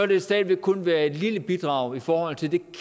det stadig væk kun være et lille bidrag i forhold til det